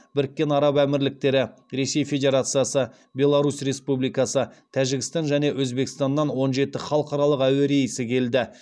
біріккен араб әмірліктері ресей федерациясы беларусь республикасы тәжікстан және өзбекстаннан он жеті халықаралық әуе рейсі келді